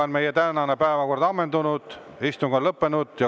Meie tänane päevakord on ammendunud, istung on lõppenud.